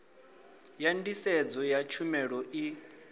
ya nḓisedzo ya tshumelo i